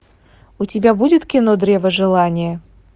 у тебя будет кино древо желания